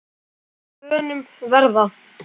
og að bönum verða